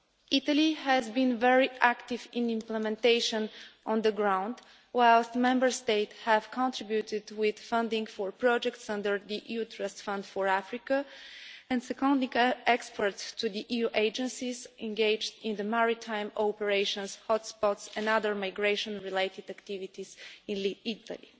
Italy has been very active in implementation on the ground, whilst Member State have contributed with funding for projects under the EU Trust Fund for Africa and by seconding experts to the EU agencies engaged in the maritime operational hotspots' and other migration related activities in Italy.